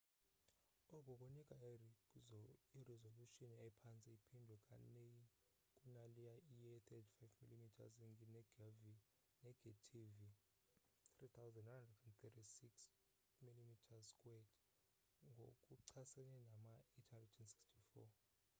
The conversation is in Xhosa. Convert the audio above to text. oku kunika irizolushini ephantse iphindwe kanei kunaleyo ye-35 mm negethivi 3136 mm2 ngokuchasene nama-864